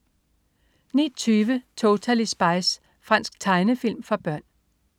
09.20 Totally Spies. Fransk tegnefilm for børn